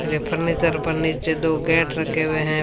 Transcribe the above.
ये फर्नीचर पर नीचे दो गेट रखे हुए हैं।